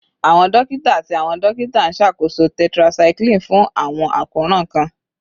Awọn dokita ati awọn dokita nṣakoso tetracycline fun awọn akoran kan